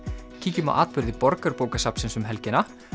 kíkjum á atburði Borgarbókasafnsins um helgina